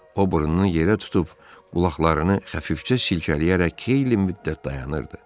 O burnunu yerə tutub, qulaqlarını xəfifcə silkələyərək xeyli müddət dayanırdı.